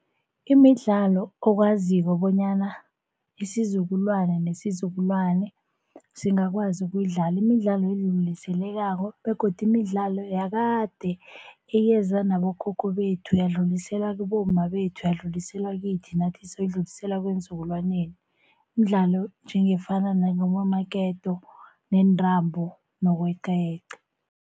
Imidlalo okwaziko bonyana isizukulwane nesizukulwane singakwazi ukuyidlala. Imidlalo begodu imidlalo yakade eyeza nabokhokho bethu, yadluliselwa kubomma bethu, yadluliselwa kithi, nathi sayidlulisela eenzukulwaneni. Mdlalo njengefana namaketo, nentambo nokweqayeqa.